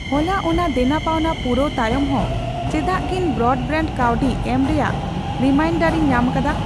ᱦᱚᱞᱟ ᱚᱱᱟ ᱫᱮᱱᱟᱯᱟᱣᱱᱟ ᱯᱩᱨᱟᱹᱣ ᱛᱟᱭᱚᱢ ᱦᱚᱸ ᱪᱮᱫᱟᱜᱤᱧ ᱵᱨᱚᱰᱵᱮᱣᱰ ᱠᱟᱹᱣᱰᱤ ᱮᱢ ᱨᱮᱭᱟᱜ ᱨᱤᱢᱟᱭᱤᱱᱰᱟᱨᱤᱧ ᱧᱟᱢᱟᱠᱟᱫᱟ ?